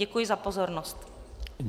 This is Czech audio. Děkuji za pozornost.